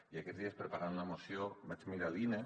i aquests dies preparant la moció vaig mira l’ine